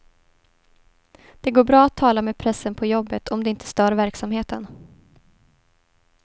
Det går bra att tala med pressen på jobbet om det inte stör verksamheten.